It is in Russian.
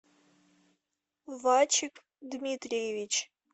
вачик дмитриевич